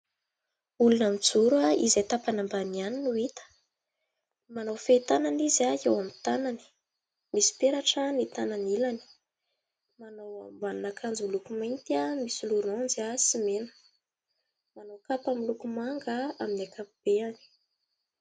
Olona mijoro izay tapany ambany ihany no hita. Manao fehitanana izy eo amin'ny tanany. Misy peratra ny tanany ilany. Manao ambanin'akanjo miloko mainty misy lôranjy sy mena. Manao kapa miloko manga amin'ny ankapobeny.